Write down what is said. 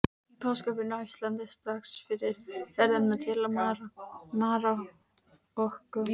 Í páskafríinu á Íslandi, strax eftir ferðina til Marokkó.